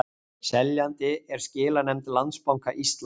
Seljandi er skilanefnd Landsbanka Íslands